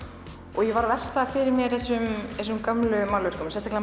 og ég var að velta fyrir mér þessum gömlu málverkum sérstaklega